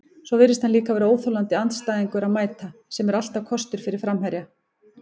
Svo virðist hann líka vera óþolandi andstæðingur að mæta, sem er alltaf kostur fyrir framherja.